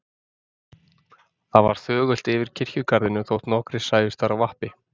Það var þögult yfir kirkjugarðinum þótt nokkrir sæjust þar á vappi.